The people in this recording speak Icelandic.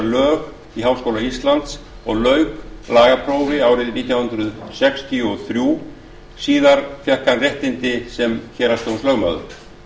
lög í háskóla íslands og lauk lögfræðiprófi nítján hundruð sextíu og þrjú síðar fékk hann réttindi sem héraðsdómslögmaður